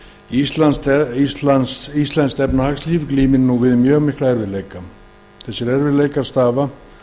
með þingsályktunartillögunni segir íslenskt efnahagslíf glímir nú við mjög mikla erfiðleika þessir erfiðleikar stafa